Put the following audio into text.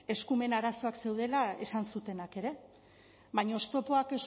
eskumen arazoak zeudela esan zutenak ere baina oztopoak